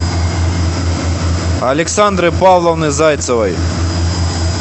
александры павловны зайцевой